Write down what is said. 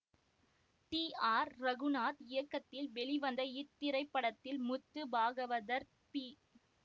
D R Raghunath இயக்கத்தில் வெளிவந்த இத்திரைப்படத்தில் முத்து பாகவதர் பி